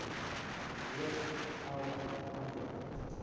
reeds elf amptelike